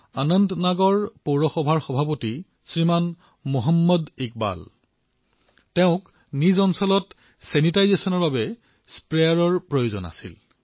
অনন্তনাগৰ পৌৰ সভাপতি শ্ৰীমান মহম্মদ ইকবাল তেওঁক নিজৰ এলেকাৰ ছেনিটাইজেছনৰ বাবে স্প্ৰেয়াৰৰ প্ৰয়োজন আছিল